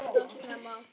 Alltof snemma.